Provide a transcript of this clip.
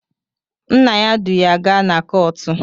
Nna ya du ya gaa na kọọtụ